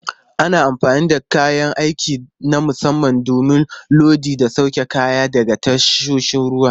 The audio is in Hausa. Ana amfani da kayan aiki na musamman don lodi da sauke kaya daga tasoshin ruwa.